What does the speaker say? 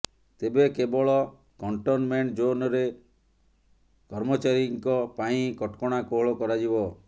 ତେବେ କେବଳ କଣ୍ଟନମେଣ୍ଟ ଜୋନରେ କର୍ମଚାରୀଙ୍କ ପାଇଁ କଟକଣା କୋହଳ କରାଯିବ